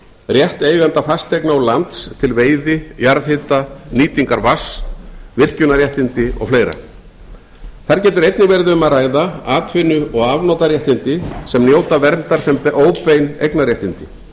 rétt eigenda fasteigna og lands til veiði jarðhita nýtingar vatns virkjunarréttindi og fleira þar getur einnig verið um að hvað atvinnu og afnotaréttindi sem njóta verndar sem óbein eignarréttindi